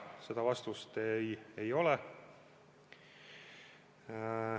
Seda vastust ei ole.